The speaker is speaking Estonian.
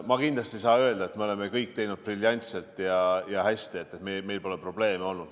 Ma kindlasti ei saa öelda, et me oleme teinud kõik briljantselt ja hästi, et meil pole olnud probleeme.